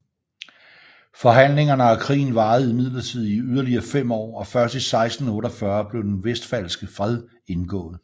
Forhandlingerne og krigen varede imidlertid i yderligere fem år og først i 1648 blev den Westfalske Fred indgået